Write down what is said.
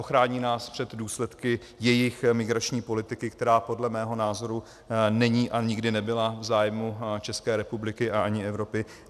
Ochrání nás před důsledky jejich migrační politiky, která podle mého názoru není a nikdy nebyla v zájmu České republiky a ani Evropy?